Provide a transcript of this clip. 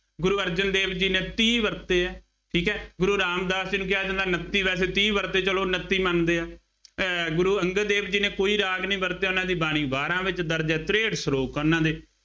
ਗੁਰੂ ਅਰਜਨ ਦੇਵ ਜੀ ਨੇ ਤੀਹ ਵਰਤੇ ਆ, ਠੀਕ ਹੈ, ਗੁਰੂ ਰਾਮਦਾਸ ਜਿਹਨੂੰ ਕਿਹਾ ਜਾਂਦਾ, ਉਨੱਤੀ ਵੈਸੇ ਤੀਹ ਵਰਤੇ, ਚੱਲੋ ਉਨੱਤੀ ਮੰਨਦੇ ਹਾਂ। ਅਹ ਗੁਰੂ ਅੰਗਦ ਦੇਵ ਜੀ ਨੇ ਕੋਈ ਰਾਗ ਨਹੀਂ ਵਰਤਿਆ, ਉਹਨਾ ਦੀ ਬਾਣੀ ਬਾਰਾਂ ਵਿੱਚ ਦਰਜ ਹੈ। ਤਰੇਂਹਠ ਸਲੋਕ ਆ ਉਹਨਾ ਦੇ,